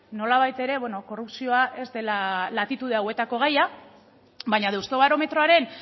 nolabait ere korrupzioa ez dela latitude hauetako gaia baina deustobarometroaren